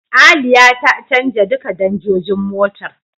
Aliya ta canja duka danjojin motar.